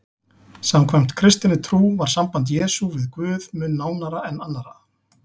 Samkvæmt kristinni trú var samband Jesú við Guð mun nánara en annarra.